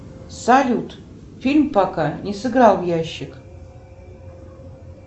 салют фильм пока не сыграл в ящик